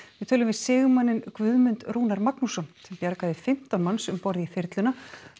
við tölum við sigmanninn Guðmund Rúnar Magnússon sem bjargaði fimmtán manns um borð í þyrluna